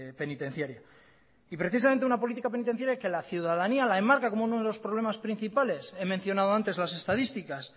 penitenciaria y precisamente una política penitenciaria que la ciudadanía la enmarca como uno de los problemas principales he mencionado antes las estadísticas